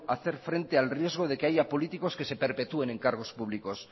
hacer frente al riesgo de que haya políticos que se perpetúen en cargo públicos